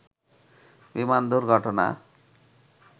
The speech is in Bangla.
বিমান দুর্ঘটনা